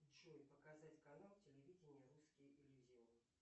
джой показать канал телевидения русский иллюзион